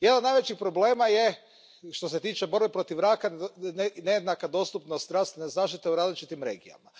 Jedan od najvećih problema je, što se tiče borbe protiv raka, nejednaka dostupnost zdravstvene zaštite u različitim regijama.